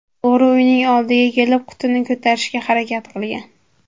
O‘g‘ri uyning oldiga kelib, qutini ko‘tarishga harakat qilgan.